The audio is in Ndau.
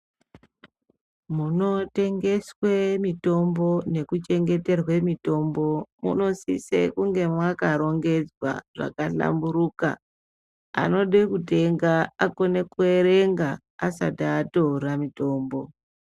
Munotengeswe mitombo nekuchengeterwe mitombo munosise kunge mwakarongedzwa zvakahlamburuka. Anode kutenga akone kuerenga asati atore mitombo.